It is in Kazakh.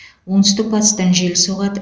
оңтүстік батыстан жел соғады